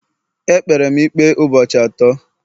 E kpere m ikpe ụbọchị atọ